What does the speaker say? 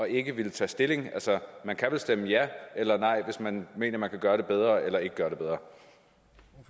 ikke at ville tage stilling altså man kan vel stemme ja eller nej hvis man mener at man kan gøre det bedre eller ikke kan gøre